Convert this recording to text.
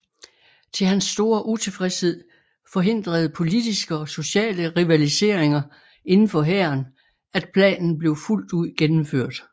Til hans store utilfredshed forhindrede politiske og sociale rivaliseringer indenfor hæren at planen blev fuldt ud gennemført